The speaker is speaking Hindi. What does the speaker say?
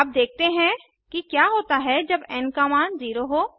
अब देखते हैं कि क्या होता है जब एन का मान 0 हो